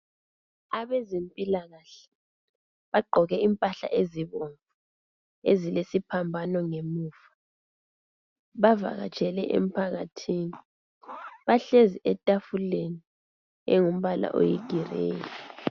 Abeze mpilakahle bagqoke imphahla ezibomvu ezilesophambano ngemuva, bavakatshele emphakathi, bahlezi etafuleni olembala oyigireyi.